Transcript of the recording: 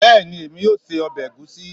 Bẹẹni, emi o sé ọbẹ̀ ègúsi